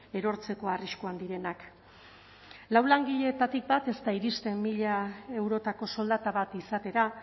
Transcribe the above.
erortzeko arriskuan direnak lau langiletatik bat ez da iristen mila eurotako soldata bat izatera